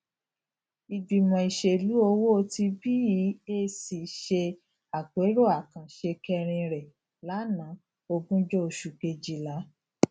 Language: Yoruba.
ìgbìmọ ìṣèlú owó ti beac ṣe àpérò àkànṣe kẹrin rẹ lanaa ogunjo oṣù kejìlá